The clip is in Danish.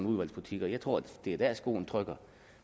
udvalgsbutikker jeg tror det er der skoen trykker